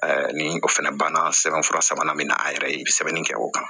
ni o fana banna sɛbɛn fura sabanan min na an yɛrɛ ye sɛbɛnni kɛ o kan